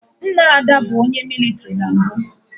Nna Ada bụ onye mịlịtrị na mbụ